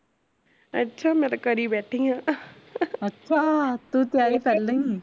ਅੱਛਾ ਮੈਂ ਤਾ ਕਰੀ ਬੈਠੀ ਆ